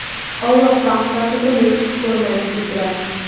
Alloh fahsh va so‘kishni xush ko‘rmaydi", dedilar".